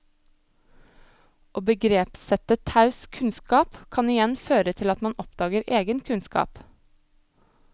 Å begrepssette taus kunnskap kan igjen føre til at man oppdager egen kunnskap.